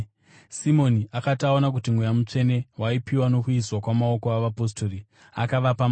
Simoni akati aona kuti Mweya Mutsvene waipiwa nokuiswa kwamaoko avapostori, akavapa mari